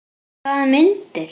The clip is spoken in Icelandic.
Hvaða myndir?